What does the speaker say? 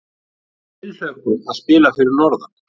Tilhlökkun að spila fyrir norðan